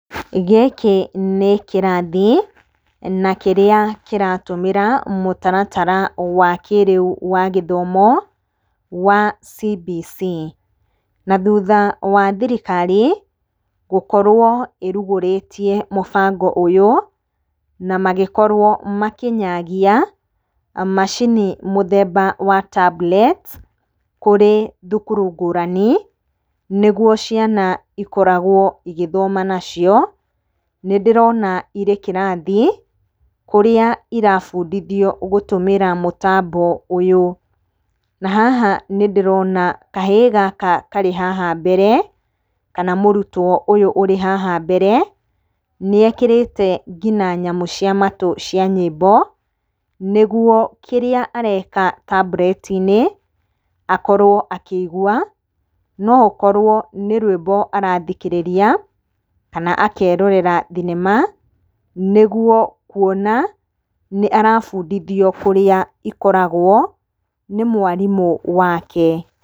Gĩkĩ nĩ kĩrathi, na kĩrĩa kĩratumĩra mũtaratara wa kĩrĩu wa gĩthomo wa CBC. Na thutha wa thirikari gũkorwo ĩrugũrĩtie mũbango ũyũ, na magĩkorwo makĩnyagia macini mũthemba wa tablets kũrĩ thukuru ngũrani, nĩguo ciana ikoragwo igĩthoma nacio. Ni ndĩrona irĩ kĩrathi, kũrĩa irabundithio gũtũmĩra mũtambo ũyũ. Na haha nĩ ndĩrona kahĩĩ gaka karĩ haha mbere, kana mũrutwo ũyũ ũrĩ haha mbere nĩekĩrĩte nginya nyamũ cia matũ cia nyĩmbo nĩgũo kĩrĩa areka tablet-inĩ akorwo akĩigua, no ũkorwo nĩ rwimbo arathikĩrĩria kana akerorera thinema, nĩguo kuona, nĩ arabundithio kũrĩa ikoragwo nĩ mwarimũ wake.